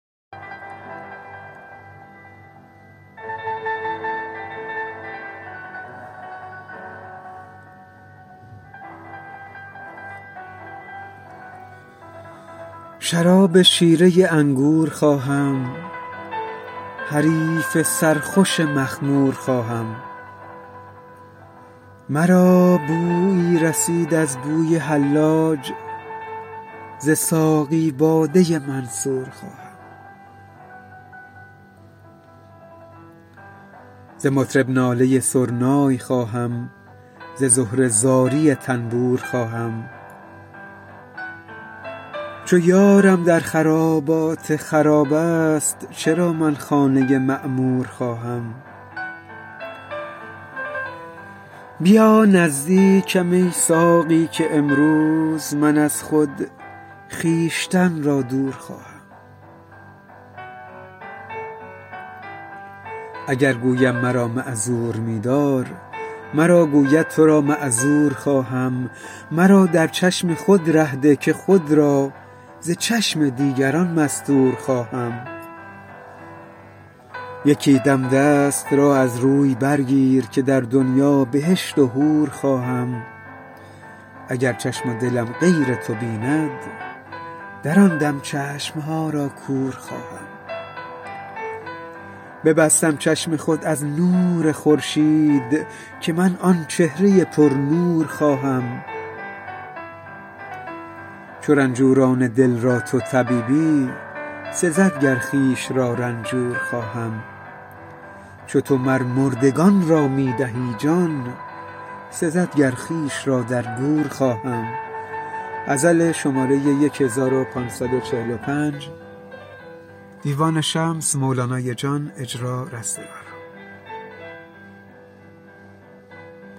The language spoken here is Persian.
شراب شیره انگور خواهم حریف سرخوش مخمور خواهم مرا بویی رسید از بوی حلاج ز ساقی باده منصور خواهم ز مطرب ناله سرنای خواهم ز زهره زاری تنبور خواهم چو یارم در خرابات خراب است چرا من خانه معمور خواهم بیا نزدیکم ای ساقی که امروز من از خود خویشتن را دور خواهم اگر گویم مرا معذور می دار مرا گوید تو را معذور خواهم مرا در چشم خود ره ده که خود را ز چشم دیگران مستور خواهم یکی دم دست را از روی برگیر که در دنیا بهشت و حور خواهم اگر چشم و دلم غیر تو بیند در آن دم چشم ها را کور خواهم ببستم چشم خود از نور خورشید که من آن چهره پرنور خواهم چو رنجوران دل را تو طبیبی سزد گر خویش را رنجور خواهم چو تو مر مردگان را می دهی جان سزد گر خویش را در گور خواهم